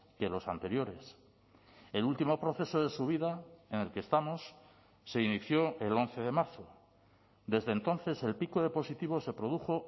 que los anteriores el último proceso de su vida en el que estamos se inició el once de marzo desde entonces el pico de positivos se produjo